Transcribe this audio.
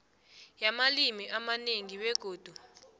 yamalimi amanengi begodu